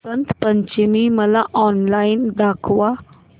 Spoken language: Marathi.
वसंत पंचमी मला ऑनलाइन दाखव